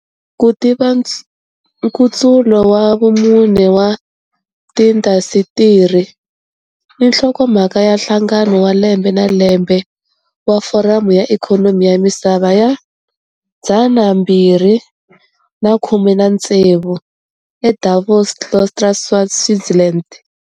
"Ku tiva Nkutsulo wa Vumune wa Tiindasitiri" i nhlokomhaka ya Nhlangano wa Lembe na Lembe wa Foramu ya Ikhonomi ya Misava ya 2016 eDavos-Klosters, Switzerland.